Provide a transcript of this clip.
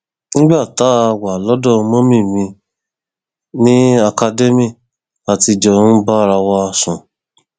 nígbà tá a wà lọdọ mummy mi ní academy la ti jọ ń bára wa sùn